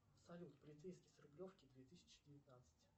салют полицейский с рублевки две тысячи девятнадцать